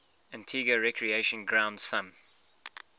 antigua recreation ground thumb